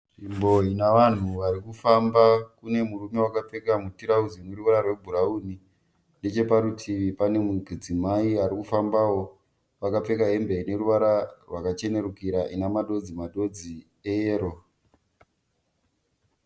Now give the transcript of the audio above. Nzvimbo ine vanhu vari kufamba. Kune murume akapfeka mutirauzi uneruva rwebhurawuni. Necheparutivi pane mudzimai ari kufambawo akapfeka hembe ine ruvara rwakachenerukira ine madodzi madodzi eyero.